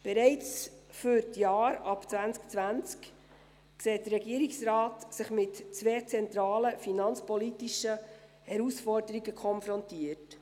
Bereits für die Jahre ab 2020 sieht sich der Regierungsrat mit zwei zentralen finanzpolitischen Herausforderungen konfrontiert.